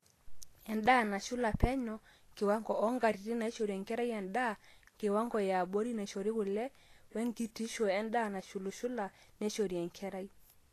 endaa nasula peno, kiwango oonkatitin naaishori enkerai endaa, kiwango yaabori naaishori kule, wenk8tishu endaa nashulushula naishori enkerai